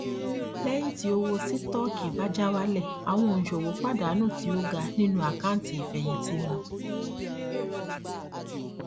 lẹyìn tí owó sítọọkì bá já wálẹ àwọn òǹṣòwò pàdánù tí ó ga nínú àkántì ìfẹyìntì wọn